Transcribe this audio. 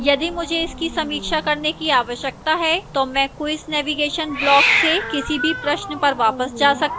यदि मुझे इसकी समीक्षा करने की आवश्यकता है तो मैं quiz navigation block से किसी भी प्रश्न पर वापस जा सकती हूँ